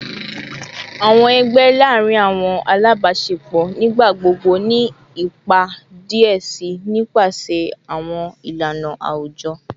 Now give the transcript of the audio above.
Awọn ẹgbẹ laarin awọn alabaṣepọ nigbagbogbo ni ipa diẹ sii nipasẹ awọn ilana awujọ